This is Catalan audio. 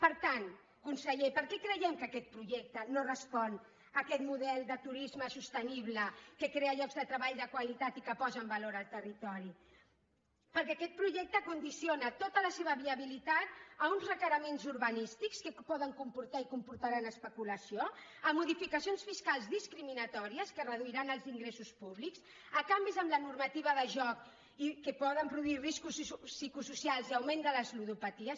per tant conseller per què creiem que aquest projecte no respon a aquest model de turisme sostenible que crea llocs de treball de qualitat i que posa en valor el territori perquè aquest projecte condiciona tota la seva viabilitat a uns requeriments urbanístics que poden comportar i comportaran especulació a modificacions fiscals discriminatòries que reduiran els ingressos públics a canvis en la normativa de joc que poden produir riscos psicosocials i augment de les ludopaties